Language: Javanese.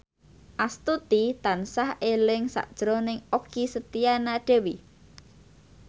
Astuti tansah eling sakjroning Okky Setiana Dewi